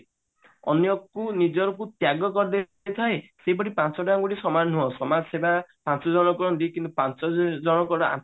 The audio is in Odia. ଅନ୍ୟକୁ ନିଜକୁ ତ୍ୟାଗ କରିଦେଇ ଥାଏ ସେହିପରି ପାଞ୍ଚଟା ଅଙ୍ଗୁଳି ସମାନ ନୁହ ସମାଜ ସେବା ପାଞ୍ଚ ଜଣକ ପାଞ୍ଚ ଜଣଙ୍କର